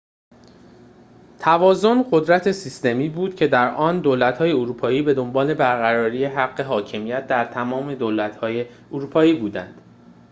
توازن قدرت سیستمی بود که در آن دولت‌های اروپایی بدنبال برقراری حق حاکمیت در تمام دولت‌های اروپایی بودند